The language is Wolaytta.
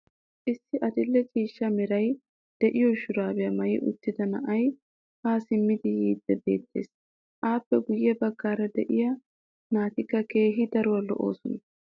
issi adil'e ciishsha meray diyo shuraabbiya maayi uttida na"ay haa simmidi yiidi beetees. appe guye bagaara diya naatikka keehi daruwa lo'oosona.